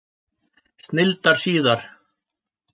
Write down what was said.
Snilldar síðar!